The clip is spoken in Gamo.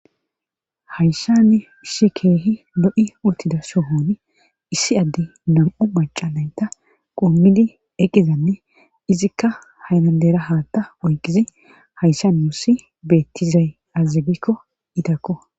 hayssan issi keehi lo7i uttida sohooni issi adde nam7u maca nayta qommidi eqizanne izikka haylandera haatta oyqizi hayssan wussi beettizay aazagikko izakko